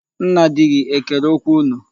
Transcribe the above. Nna di gị ekere okwu unu?